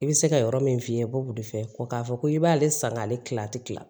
I bɛ se ka yɔrɔ min f'i ye i bɛ bɔ wula de fɛ ko k'a fɔ ko i b'ale san k'ale tila ti kila